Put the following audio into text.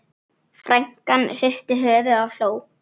Frænkan hristi höfuðið og hló.